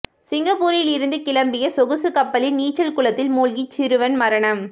சிங்கப்பூரிலிருந்து கிளம்பிய சொகுசுக் கப்பலின் நீச்சல் குளத்தில் மூழ்கி சிறுவன் மரணம்